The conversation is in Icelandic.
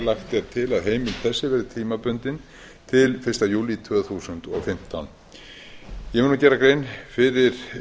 er til að heimild þessi verði tímabundin til fyrsta júlí tvö þúsund og fimmtán ég mun nú gera nánari grein fyrir